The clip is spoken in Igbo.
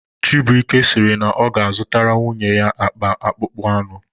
Chibuike sịrị na ọ ga-azụtara nwunye ya akpa akpụkpọ anụ